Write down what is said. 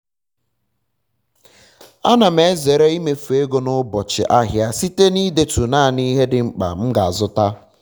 ana m ezere imefu ego n'ubochị ahịa site na idetu naanị ihe di mkpa m ga azụta